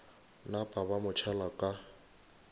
napa ba mo tšhela ka